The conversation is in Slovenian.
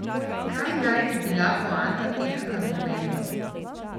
Kaj naj bi bila poanta teh argumentov?